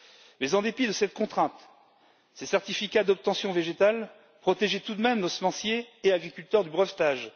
Mais en dépit de cette contrainte, ces certificats d'obtention végétale protégeaient tout de même nos semenciers et agriculteurs du brevetage.